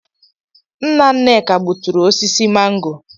Nna Nneka gbuturu osisi mango.